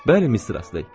Bəli, Mistress Ley.